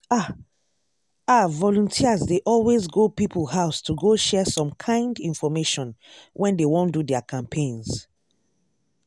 ah! ah volunteers dey always go people house to go share some kind infomation when dey wan do their campaigns.